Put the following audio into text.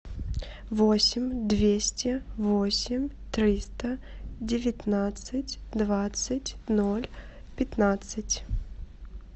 восемь двести восемь триста девятнадцать двадцать ноль пятнадцать